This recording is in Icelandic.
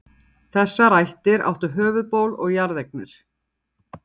Þessar ættir áttu höfuðból og jarðeignir.